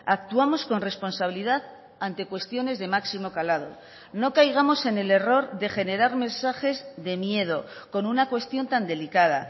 actuamos con responsabilidad ante cuestiones de máximo calado no caigamos en el error de generar mensajes de miedo con una cuestión tan delicada